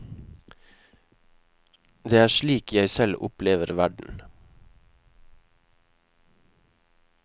Det er slik jeg selv opplever verden.